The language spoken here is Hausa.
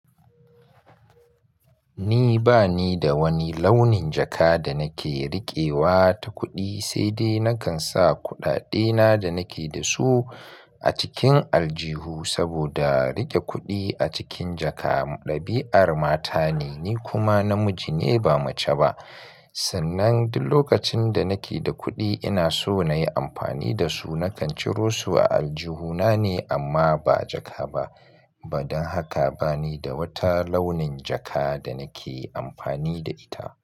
Ni ba ni da wani launin jaka da nake riƙewa ta kuɗi, sai dai nakan sa kuɗaɗena da nake da su a cikin aljihu saboda riƙe kuɗi a cikin jaka ɗabi'ar mata ne, ni kuma namiji ne ba mace ba. Sannan duk lokacin da nake da kuɗi ina so na yi amfani da su nakan ciro su a aljihuna ne amma ba jaka ba. Ba don haka ba ni da wata launin jaka da nake amfani da ita.